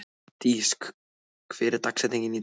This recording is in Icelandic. Dís, hver er dagsetningin í dag?